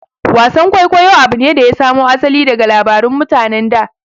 Wasan kwaikwayo abu ne da ya samo asali daga labarun mutanen da